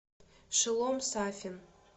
шелом сафин